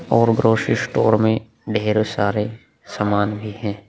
और gross store में ढेरों सारे सामान भी हैं।